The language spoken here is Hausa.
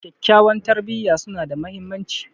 Kyakkyawan tarbiyya suna da mahimmanci.